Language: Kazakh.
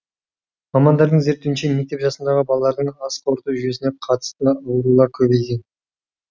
мамандардың зерттеуінше мектеп жасындағы балалардың ас қорыту жүйесіне қатысты аурулар көбейген